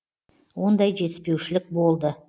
ондай жетіспеушілік болды